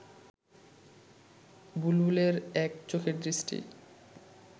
বুলবুলের এক চোখের দৃষ্টি